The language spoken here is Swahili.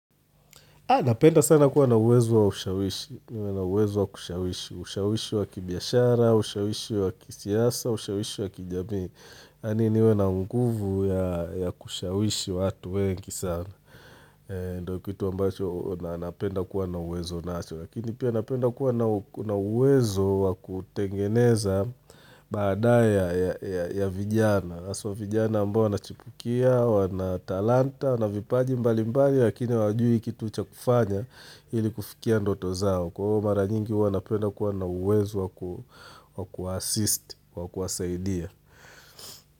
Napenda sana kuwa na uwezo wa ushawishi, niwe na uwezo wa kushawishi ushawishi wa kibiashara, ushawishi wa kisiasa, ushawishi wa kijamii. Yaani niwe na nguvu ya kushawishi watu wengi sana. Ndio kitu ambacho napenda kuwa na uwezo nacho. Lakini pia napenda kuwa na uwezo wa kutengeneza baada ya vijana. Haswa vijana ambao wanachipukia, wana talanta, wana vipaji mbalimbali lakini hawajui kitu ucha kufanya ili kufikia ndoto zao. Kwa hivyo mara nyingi huwa napenda kuwa na uwezo waku-assist, wakuwasaidia.